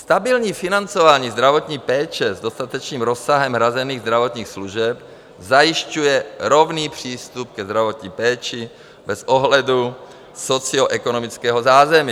Stabilní financování zdravotní péče s dostatečným rozsahem hrazených zdravotních služeb zajišťuje rovný přístup k zdravotní péči bez ohledu socioekonomického zázemí.